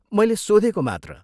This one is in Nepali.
मैले सोधेको मात्र।